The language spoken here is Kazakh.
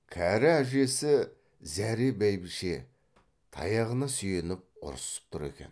кәрі әжесі зәре бәйбіше таяғына сүйеніп ұрсып тұр екен